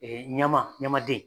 ɲama ɲamaden